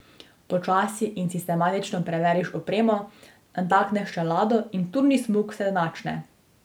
Počasi in sistematično preveriš opremo, natakneš čelado in turni smuk se načne.